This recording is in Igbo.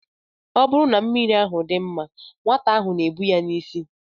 Ọ bụrụ na mmiri ahụ dị mma, nwata ahụ na-ebu ya n'isi.